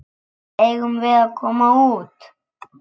Eigum við að koma út?